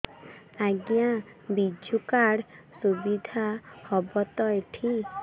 ଆଜ୍ଞା ବିଜୁ କାର୍ଡ ସୁବିଧା ହବ ତ ଏଠି